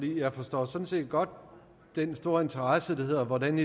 jeg forstår sådan set godt den store interesse for hvordan